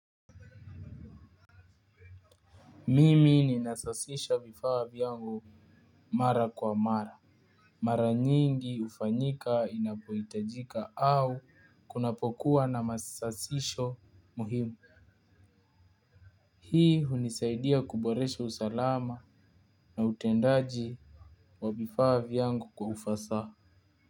Mimi ninasasisha vifaa vyangu mara kwa mara. Mara nyingi hufanyika inapohitajika au kunapokuwa na masasisho muhimu. Hii hunisaidia kuboresha usalama na utendaji wa vifaa vyangu kwa ufasaha.